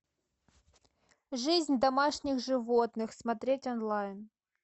жизнь домашних животных смотреть онлайн